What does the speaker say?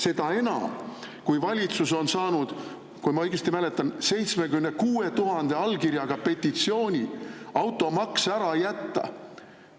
Seda enam, kui valitsus on saanud, kui ma õigesti mäletan, 76 000 allkirjaga petitsiooni automaks ära jätta.